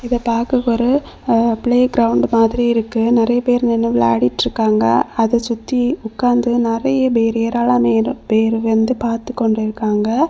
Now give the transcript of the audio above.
இத பாக்கக் ஒரு பிளே கிரவுண்ட் மாதிரி இருக்கு நெறைய பேர் நின்னு விலாடிட்ருக்காங்க அத சுத்தி உக்காந்து நெறைய பேரு ஏராளம்னா பேரு வந்து பாத்துகொண்டுடிருக்காங்க.